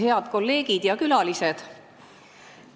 Head kolleegid ja külalised!